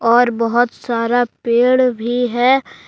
और बहुत सारा पेड़ भी है।